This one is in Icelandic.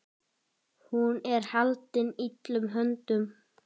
Hún er haldin illum öndum.